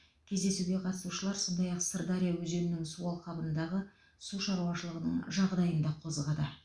кездесуге қатысушылар сондай ақ сырдария өзенінің су алқабындағы су шаруашылығының жағдайын да қозғады